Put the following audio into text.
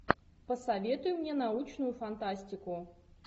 посоветуй мне научную фантастику